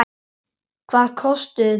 Hvað kostuðu þeir?